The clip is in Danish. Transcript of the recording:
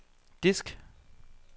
disk